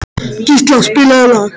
Gísla, spilaðu lag.